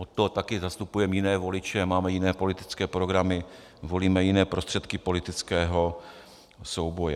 Od toho také zastupujeme jiné voliče, máme jiné politické programy, volíme jiné prostředky politického souboje.